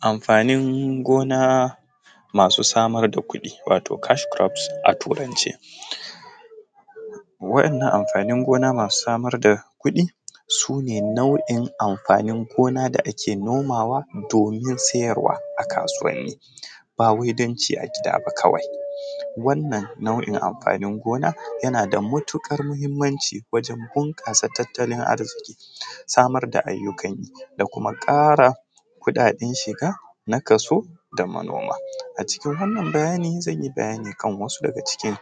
Amfanin gona masu samar da kudi wato cash crops aturance wayan nan amfani gona masu samar da kuɗi suna nau’in amfanin gona da ake nomawa domin siyarwa a kasuwani bawai danci agida ba kawai wannan nau’in amfanin gona yana da matukar mhimmanci wajen bunkasa tatalin arziki samar da ayyukan yi da kuma ƙara kuɗaɗen shiga na kaso da kuma noma a cikin wannan bayanin zan yi bayani akan wasu daga cikin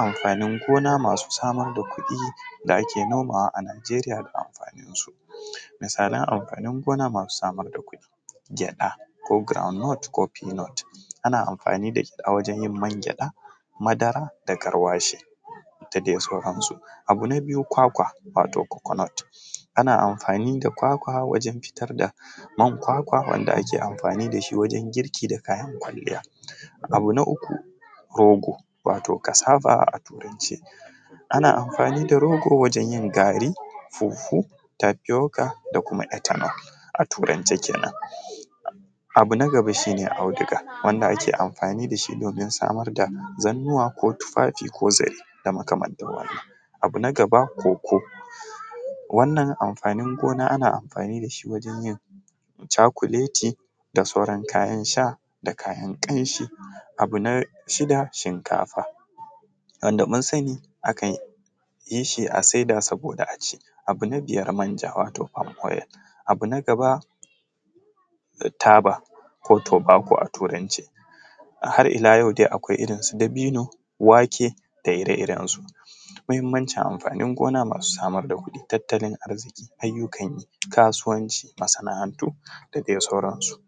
amfanin gona masu samar da kuɗi da ake nomawa a Nijeriya da amfanin su, misalan amfanin gona masu samar da kuɗi gyaɗa groundnut ko peanut ana amfani a wajen yin mangyaɗa madara da garwashi da dai sauran su, abu na biyu kwakwa wato coconut ana amfani da kwakwa wajen fitar da man kwakwa wanda ake amfani dashi wajen girki da kayan kwaliyya, abu na uku rogo wato cassava a turance ana amfani da rogo wajen yin gari pawpaw tafyoka da ethanol a turance kenan, abu na gaba shi ne auduga ake amfani da shi domin samun damar da zannuwa ko tufafi ko zare da makamantar wannan, abu na gaba cocoa wannan amfanin gona ana amfani da shi wajen yin chakuleti da sauran kayan sha da kayan kanshi abu na huɗu shinkafa wanda mun sani akan yi shi a saida domin a ci abu na biyar manja wato palm oil, abu na gaba taba ko tobacco a turance har illa yau dai akwai irin su dabino wake da ire-irensu mahimmancin amfanin gona masu samar da kuɗi da tattalin arziƙi ayyukan yi kasuwanci masana’antu da dai sauran su.